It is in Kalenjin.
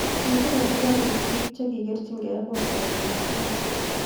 kibir askarik biik che kikikerjigei kootab bokitet